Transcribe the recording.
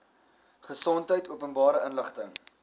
gesondheid openbare inligting